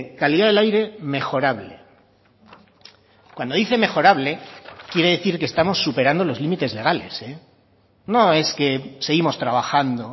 calidad del aire mejorable cuando dice mejorable quiere decir que estamos superando los límites legales no es que seguimos trabajando